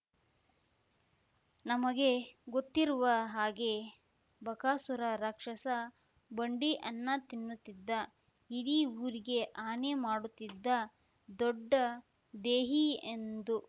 ನಮಗೆ ಗೊತ್ತಿರುವ ಹಾಗೆ ಬಕಾಸುರ ರಾಕ್ಷಸ ಬಂಡಿ ಅನ್ನ ತಿನ್ನುತ್ತಿದ್ದ ಇಡೀ ಊರಿಗೆ ಹಾನಿ ಮಾಡುತ್ತಿದ್ದ ದೊಡ್ಡ ದೇಹಿ ಎಂದು